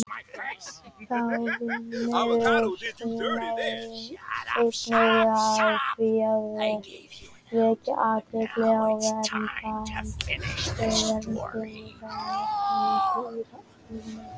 Þá vinnur hún einnig að því að vekja athygli á verndun og velferð dýra almennt.